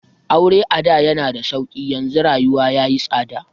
Aure ada yana da sauƙi, yanzu rayuwa ya yi tsada.